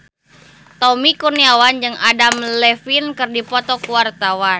Tommy Kurniawan jeung Adam Levine keur dipoto ku wartawan